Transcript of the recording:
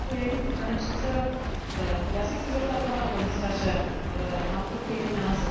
Pane předsedo, já se chci zeptat pana komisaře, mám trochu jiný názor.